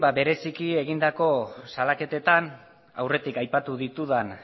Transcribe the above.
bereziki egindako salaketetan aurretik aipatu ditudan